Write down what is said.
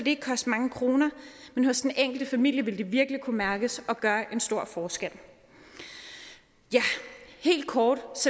ikke koste mange kroner men hos den enkelte familie vil det virkelig kunne mærkes og gøre en stor forskel ja helt kort